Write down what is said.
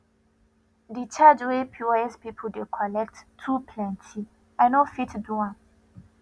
de charge wey pos people dey collect too plenty i no fit do am